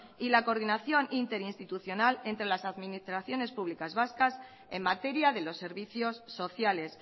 y la coordinación interinstitucional entre las administraciones públicas vascas en materia de los servicios sociales